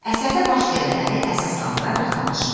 Əsərdə baş verənləri əsaslandıraraq danışmaq.